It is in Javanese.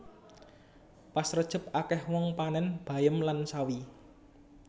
Pas rejeb akeh wong panen bayem lan sawi